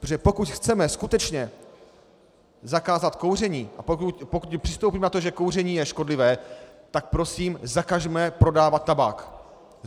Protože pokud chceme skutečně zakázat kouření a pokud přistoupíme na to, že kouření je škodlivé, tak prosím zakažme prodávat tabák.